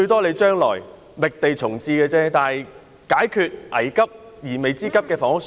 你將來可以覓地重置球場，但現在可解決迫在眉睫的房屋需要。